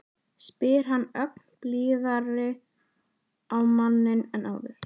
spyr hann ögn blíðari á manninn en áður.